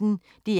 DR P1